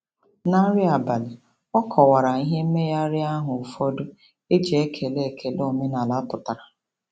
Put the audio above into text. Na nri abalị, ọ kọwara ihe mmegharị ahụ ụfọdụ e ji ekele ekele omenala pụtara.